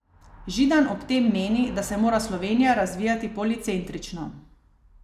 Židan ob tem meni, da se mora Slovenija razvijati policentrično.